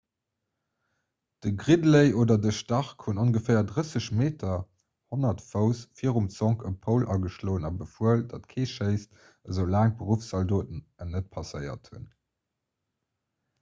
de gridley oder de stark hunn ongeféier 30 m 100 fouss virum zonk e poul ageschloen a befuel datt kee schéisst esou laang d'beruffszaldoten en net passéiert hunn